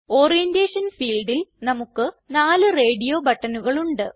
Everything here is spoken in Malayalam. ഓറിയന്റേഷൻ ഫീൽഡിൽ നമുക്ക് നാല് റേഡിയോ ബട്ടണുകൾ ഉണ്ട്